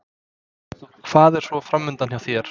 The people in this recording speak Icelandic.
Hvað er svo framundan hjá þér?